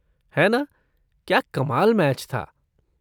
है ना! क्या कमाल मैच था।